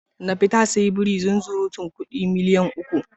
Nafi ta sayi biri zunzurutun kudi miliyan uku.